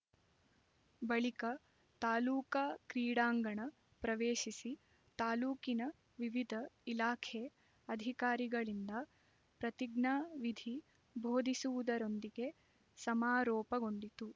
ಬಳಿಕ ತಾಲೂಕಾ ಕ್ರೀಡಾಂಗಣ ಪ್ರವೇಶಿಸಿ ತಾಲೂಕಿನ ವಿವಿದ ಇಲಾಖೆ ಅಧಿಕಾರಿಗಳಿಂದ ಪ್ರತಿಜ್ಞಾ ವಿಧಿ ಭೋದಿಸುವುದರೊಂದಿಗೆ ಸಮಾರೋಪಗೊಂಡಿತು